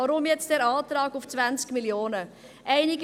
Weshalb nun der Antrag auf 20 Mio. Franken?